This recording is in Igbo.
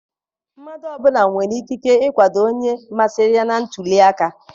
Mmadụ ọbụla nwere ikike ikwado onye masịrị ya na ntuliaka.